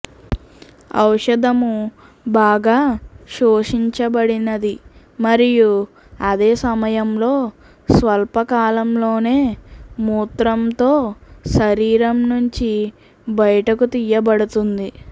ఔషధము బాగా శోషించబడినది మరియు అదే సమయంలో స్వల్ప కాలంలోనే మూత్రంతో శరీరం నుంచి బయటకు తీయబడుతుంది